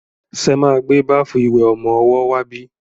Ṣe máa gbé báfù ìwẹ̀ ọmọwọ́ wá bí?